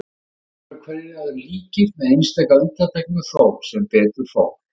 Dagarnir voru hverjir öðrum líkir, með einstaka undantekningum þó, sem betur fór.